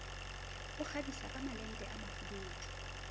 o kgabisa kamalente a mafubedu